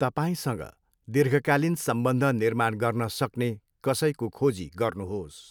तपाईँसँग दीर्घकालीन सम्बन्ध निर्माण गर्न सक्ने कसैको खोजी गर्नुहोस्।